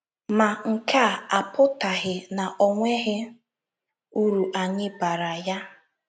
Ma, nke a apụtaghị na o nweghị uru anyị baara ya.